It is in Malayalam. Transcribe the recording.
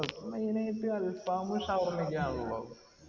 main ആയിട്ട് അൽഫാം ഷവർമ ഒക്കെ ആണല്ലോ